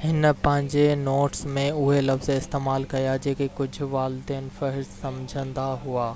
هن پنهنجي نوٽس ۾ اهي لفظ استعمال ڪيا جيڪي ڪجهه والدين فحش سمجهندا هئا